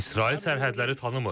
İsrail sərhədləri tanımır.